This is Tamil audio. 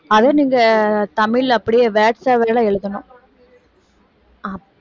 அதை நீங்க தமிழ்ல அப்படியே words ஆவே தான் எழுதணும் அஹ்